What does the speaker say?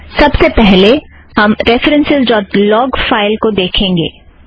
सबसे पहले हम रेफ़रन्सस् ड़ॉट लॉग फ़ाइल को देखेंगे